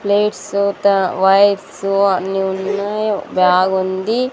Plates త wipes అన్ని ఉన్నాయి బ్యాగ్ ఉంది.